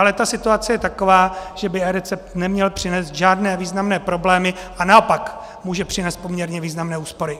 Ale ta situace je taková, že by eRecept neměl přinést žádné významné problémy a naopak může přinést poměrně významné úspory.